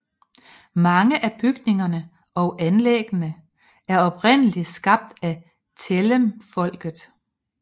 Mange af bygningerne og anlæggene er oprindelig skabt af Tellemfolket